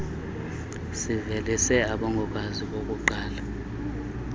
sivelise abongokazi bokuqala